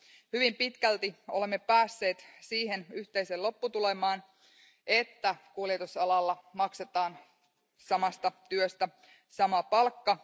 Hyvin pitkälti olemme päässeet siihen yhteiseen lopputulokseen, että kuljetusalalla maksetaan samasta työstä sama palkka.